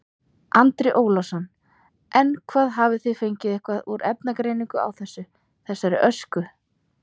Andri Ólafsson: En hvað, hafið þið fengið eitthvað úr efnagreiningu á þessu, þessari ösku?